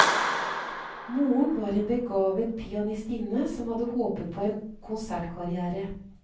Moren var en begavet pianistinne som hadde håpet på en konsertkarrière.